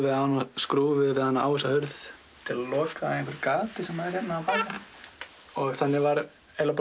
við hana skrúfuðum við hana á þessa hurð til að loka gati sem er hérna bakvið og þannig var